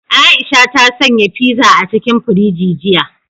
Aisha ta sanya fiza a cikin firiji jiya.